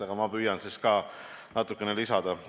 Aga ma püüan siis natukene lisada.